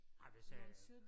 Ej hvis jeg øh